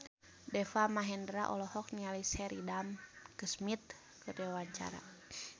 Deva Mahendra olohok ningali Sheridan Smith keur diwawancara